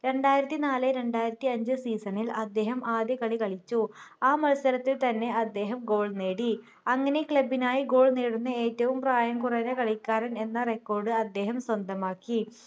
രണ്ടായിരത്തിനാല് രണ്ടായിരത്തിഅഞ്ച് season ൽ അദ്ദേഹം ആദ്യ കളി കളിച്ചു ആ മത്സരത്തിൽ തന്നെ അദ്ദേഹം goal നേടി അങ്ങനെ club നായി goal നേടുന്ന ഏറ്റവും പ്രായം കുറഞ്ഞ കളിക്കാരൻ എന്ന record അദ്ദേഹം സ്വന്തമാക്കി